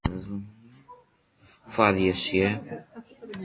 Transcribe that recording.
Hvað sé ég?